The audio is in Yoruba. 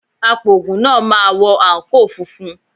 Apògùn náà máa wọ àǹkóò funfun.